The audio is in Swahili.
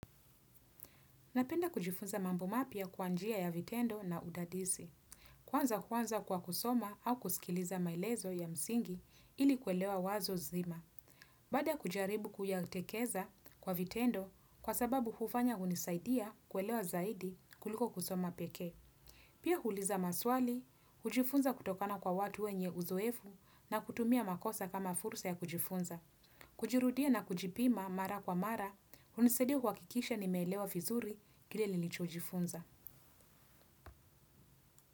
Napenda kujifunza mambo mapya kwa njia ya vitendo na udadisi. Kwanza huanza kwa kusoma au kusikiliza maelezo ya msingi ili kuelewa wazo zima. Baada ya kujaribu kuyatekeza kwa vitendo kwa sababu hufanya hunisaidia kuelewa zaidi kuliko kusoma pekee. Pia huuliza maswali, hujifunza kutokana kwa watu wenye uzoefu na kutumia makosa kama fursa ya kujifunza. Hujirudia na kujipima mara kwa mara, hunisaidia kuhakikisha nimeelewa vizuri kile nilichojifunza.